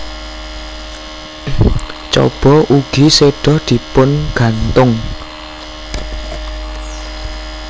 Chaba ugi seda dipungantung